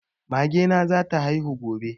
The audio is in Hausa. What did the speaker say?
Mage na za ta haihu gobe